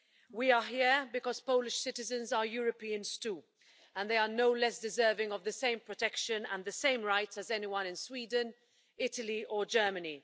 We are here because Polish citizens are Europeans too, and they are no less deserving of the same protection and the same rights as anyone in Sweden, Italy or Germany.